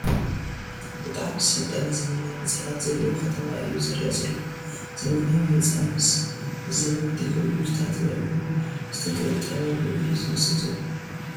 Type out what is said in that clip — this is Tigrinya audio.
ብጣዕሚ ዝሰልጠነ ዘመናዊ ህንፃታት ዘለዎ ኸተማ እዩ ዝረኣ ዘሎ ፡ ዘመናዊ ህንፃ ምስ ዝዘመነ ቴክኖሎጂታት እውን ዝተገጠመሉ እዩ ዝመስል ዘሎ ።